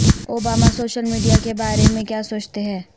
Obama social media کے بارے میں کیا سوچتے ہیں